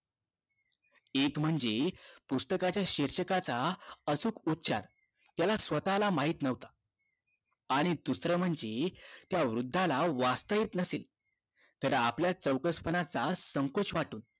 एक म्हणजे त्या पुस्तकाच्या शीर्षकाचा अचूक उच्चार त्याला स्वतःला माहित न्हवता आणि दुसरं म्हणजे त्या वृद्धाला वाचता येत नसे तर आपल्या चौकसपणाचा संकोच वाटून